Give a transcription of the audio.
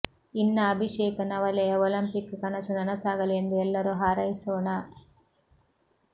ಇನ್ನ ಅಭಿಷೇಕ ನವಲೆಯ ಒಲಂಪಿಕ್ ಕನಸು ನನಸಾಗಲಿ ಎಂದು ಎಲ್ಲರೂ ಹಾರೈಸೊಣ